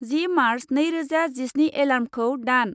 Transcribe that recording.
जि March नैरोजा जिस्नि एलार्मखौ दान।